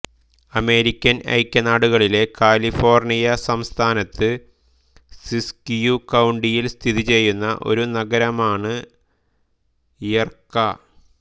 American ഐക്യനാടുകളിലെ California സംസ്ഥാനത്ത് Siskiyou കൌണ്ടിയിൽ സ്ഥിതിചെയ്യുന്ന ഒരു നഗരമാണ് യ്റെക്ക